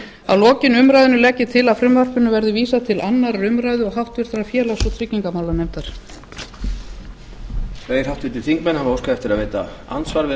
að lokinni umræðunni legg ég til að frumvarpinu verði vísað til annarrar umræðu og háttvirtur félags og tryggingamálanefndar